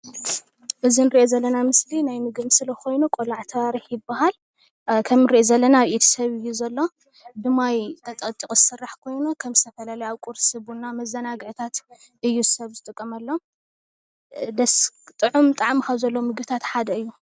እዚ ምስሊ ብቁልቲ ዝበሃል እንተኸውን ካብ ዓተር ባሕሪ ይዳሎ።